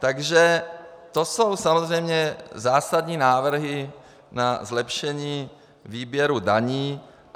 Takže to jsou samozřejmě zásadní návrhy na zlepšení výběru daní.